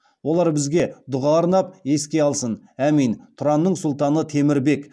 олар бізге дұға арнап еске алсын әмин тұранның сұлтаны темір бек